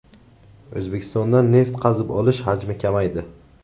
O‘zbekistonda neft qazib olish hajmi kamaydi.